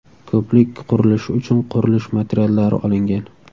Ko‘prik qurilishi uchun qurilish materiallari olingan.